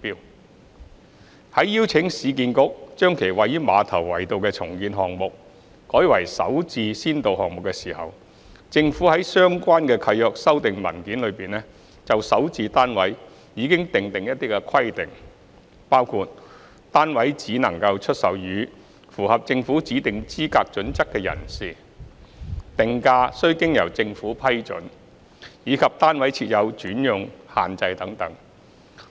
二在邀請市建局將其位於馬頭圍道的重建項目改為首置先導項目時，政府在相關契約修訂文件中就首置單位已訂定一些規定，包括單位只可出售予符合政府指定資格準則的人士、定價須經由政府批准，以及單位設有轉讓限制等，